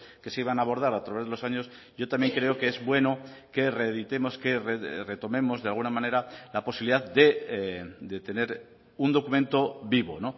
que se iban a abordar a través de los años yo también creo que es bueno que reeditemos que retomemos de alguna manera la posibilidad de tener un documento vivo